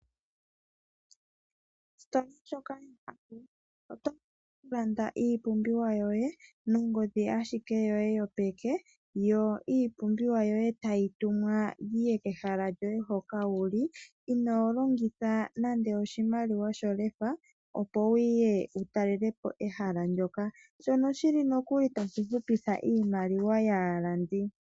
Ositola ndjoka yoAVO, otlanda iipumbiwa yoye nongodhi ashike yoye yopeke. Yo iipumbiwa yoye tayi tumwa yiye kehala lyoye hoka wuli inoo longitha nande oshimaliwa sholefa, opo wuye wutalele po ehala ndyoka shono shili nokuli tashi hupitha iimaliwa yaalandi.